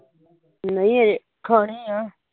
ਨਹੀਂ ਅਜੇ ਖਾਨੀ ਆ